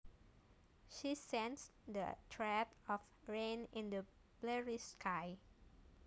She sensed the threat of rain in the bleary sky